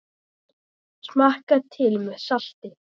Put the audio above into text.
Smakkað til með salti.